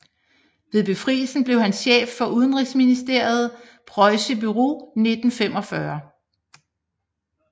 Ved befrielsen blev han chef for Udenrigsministeriets pressebureau 1945